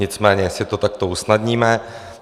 Nicméně si to takto usnadníme.